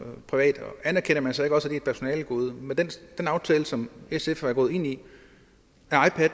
privat og anerkender man så ikke også er et personalegode med den aftale som sf er gået ind i